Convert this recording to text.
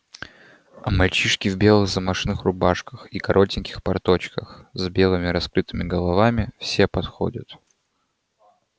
а мальчишки в белых замашных рубашках и коротеньких порточках с белыми раскрытыми головами все подходят